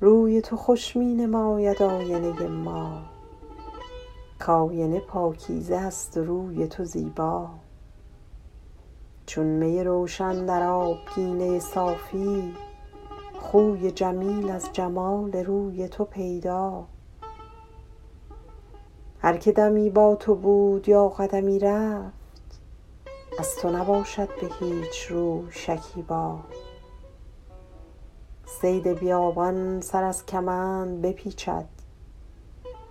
روی تو خوش می نماید آینه ما کآینه پاکیزه است و روی تو زیبا چون می روشن در آبگینه صافی خوی جمیل از جمال روی تو پیدا هر که دمی با تو بود یا قدمی رفت از تو نباشد به هیچ روی شکیبا صید بیابان سر از کمند بپیچد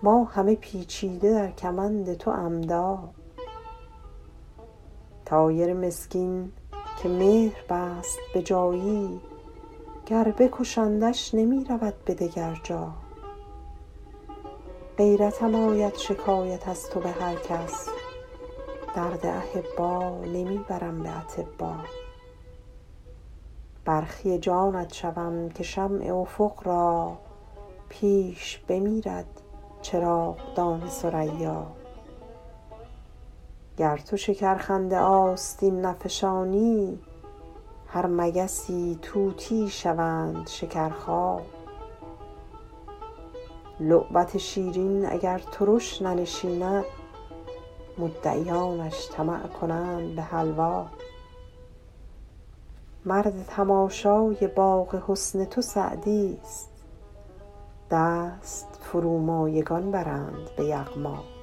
ما همه پیچیده در کمند تو عمدا طایر مسکین که مهر بست به جایی گر بکشندش نمی رود به دگر جا غیرتم آید شکایت از تو به هر کس درد احبا نمی برم به اطبا برخی جانت شوم که شمع افق را پیش بمیرد چراغدان ثریا گر تو شکرخنده آستین نفشانی هر مگسی طوطیی شوند شکرخا لعبت شیرین اگر ترش ننشیند مدعیانش طمع کنند به حلوا مرد تماشای باغ حسن تو سعدیست دست فرومایگان برند به یغما